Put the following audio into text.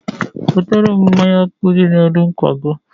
wetere m mmanya ọkụ dị n'elu ngwago.